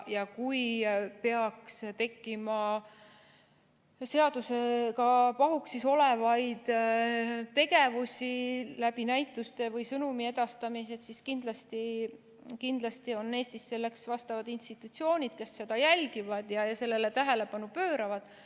Ja kui peaks tekkima seadusega pahuksis olevaid tegevusi näituste või sõnumi edastamise kaudu, siis kindlasti on Eestis selleks vastavad institutsioonid, kes seda jälgivad ja sellele tähelepanu pööravad.